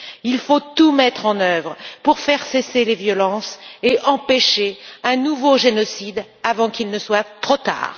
Il faut tout mettre en œuvre pour faire cesser les violences et empêcher un nouveau génocide avant qu'il ne soit trop tard.